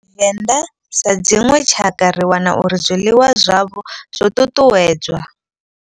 Vhavenḓa sa dzinwe tshakha ri wana uri zwiḽiwa zwavho zwo ṱuṱuwedzwa.